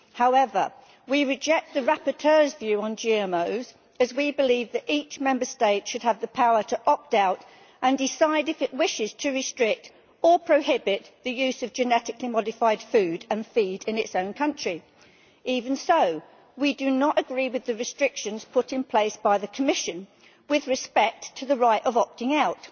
However, we reject the rapporteur's view on GMOs as we believe that each Member State should have the power to opt out and decide if it wishes to restrict or prohibit the use of genetically modified food and feed in its own country. We do not agree with the restrictions put in place by the Commission with respect to the right of opting out.